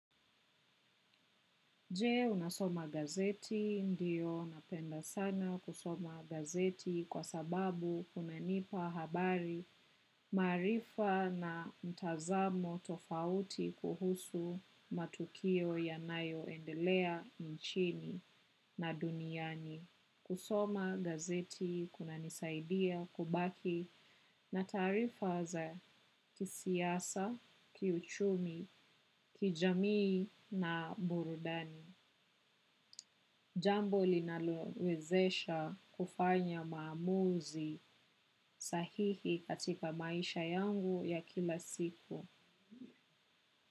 Je unasoma gazeti ndio napenda sana kusoma gazeti kwa sababu kunanipa habari maarifa na mtazamo tofauti kuhusu matukio yanayoendelea nchini na duniani. Kusoma gazeti kunanisaidia kubaki na taarifa za kisiasa kiuchumi kijamii na burudani. Jambo linalowezesha kufanya maamuzi sahihi katika maisha yangu ya kila siku.